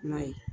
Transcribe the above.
I m'a ye